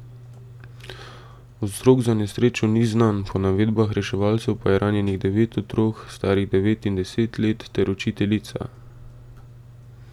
Vzrok za nesrečo ni znan, po navedbah reševalcev pa je ranjenih devet otrok, starih devet in deset let, ter učiteljica.